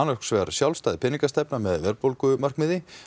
sjálfstæð peningastefna með verðbólgumarkmiði